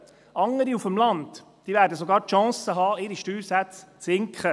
Andere Gemeinden auf dem Land werden sogar die Chance haben, ihre Steuersätze zu senken.